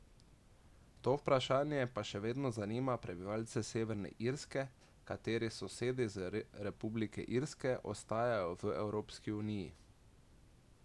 To vprašanje pa še vedno zanima prebivalce Severne Irske, katerih sosedi z Republike Irske ostajajo v Evropski uniji.